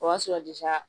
O y'a sɔrɔ